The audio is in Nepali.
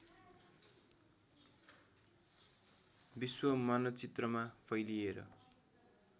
विश्व मानचित्रमा फैलिएर